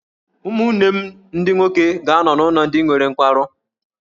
Ụmụnne m ndị nwoke ga-anọ n’ụlọ ndị nwere nkwarụ.